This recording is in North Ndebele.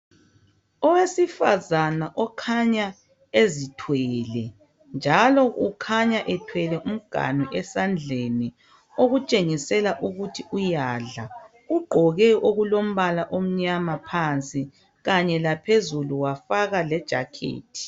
Owesifazana okhanya ezithwele njalo ukhanya ethwele umganu esandleni okutshengisela ukuthi uyadla ugqoke okulombala omnyama phansi kanye laphezulu wafaka lejazi.